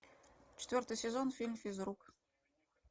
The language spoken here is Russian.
четвертый сезон фильм физрук